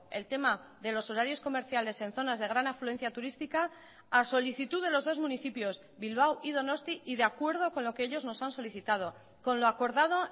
el tema de los horarios comerciales en zonas de gran afluencia turística a solicitud de los dos municipios bilbao y donosti y de acuerdo con lo que ellos nos han solicitado con lo acordado